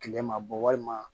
Kile ma bɔ walima